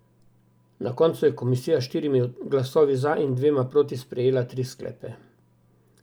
Na koncu je komisija s štirimi glasovi za in dvema proti sprejela tri sklepe.